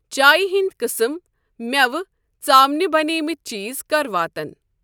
چایہِ ہِنٛدؠ قٕسٕم مٮ۪وٕ ژامنہِ بَنیمٕتؠ چیٖز کَر واتَن؟